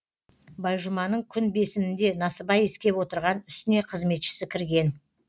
байжұманың күн бесінінде насыбай иіскеп отырған үстіне қызметшісі кірген